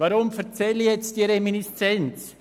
Weshalb erzähle ich diese Reminiszenz?